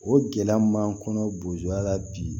O gɛlɛya mun b'an kɔnɔ bozoya la bi